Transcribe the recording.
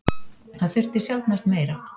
Það þurfti sjaldnast meira.